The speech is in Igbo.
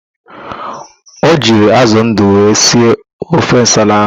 O jiri ázụ̀ ndụ wee sie ofe nsala ahụ.